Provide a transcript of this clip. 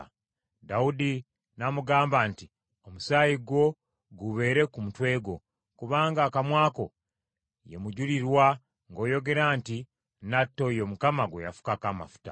Dawudi n’amugamba nti, “Omusaayi gwo gubeere ku mutwe gwo, kubanga akamwa ko ye mujulirwa ng’oyogera nti, ‘Nnatta oyo Mukama gwe yafukako amafuta.’ ”